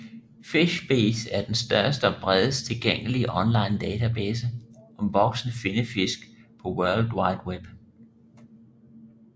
FishBase er den største og bredest tilgængelige online database om voksne finnefisk på world wide web